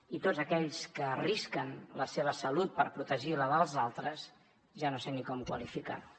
i tots aquells que arrisquen la seva salut per protegir la dels altres ja no sé ni com qualificar ho